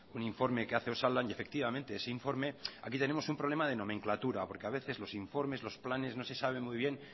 un informe que hace osalan y efectivamente ese informe aquí tenemos un problema de nomenclatura porque a veces los informes los planes no se sabe muy bien